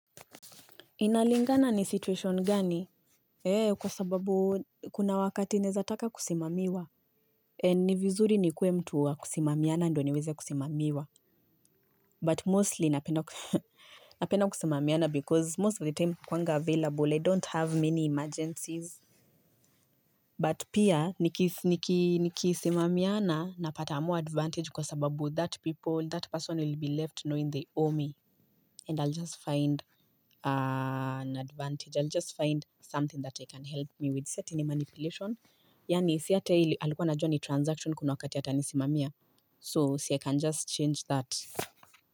Inalingana ni situation gani? Kwa sababu kuna wakati nawezataka kusimamiwa. Ni vizuri nikuwe mtu wa kusimamiana, ndio niweze kusimamiwa. But mostly, napenda kusimamiana, because, most of the time nakuwanga available I don't have many emergencies. But pia, nikisimamiana napata more advantage, kwa sababu that people, that person will be left knowing they owe me. And I'll just find an advantage. I'll just find something that I can help me with. Si eti ni manipulation. Yaani si hata yeye alikuwa anajua ni transaction kuna wakati atanisimamia. So, si I can just change that.